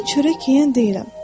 Mən çörək yeyən deyiləm.